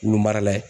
Wulu marala ye